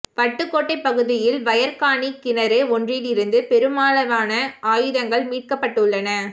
வட்டுக்கோட்டை பகுதியில் வயற் காணிக் கிணறு ஒன்றிலிருந்து பெருமளவான ஆயுதங்கள் மீட்கப்பட்டுள்ளன